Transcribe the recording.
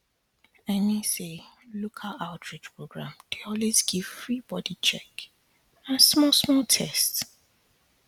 i mean say local outreach program dey always give free body check and and small small test